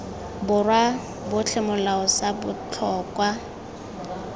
borwa otlhe molao sa botlhokwa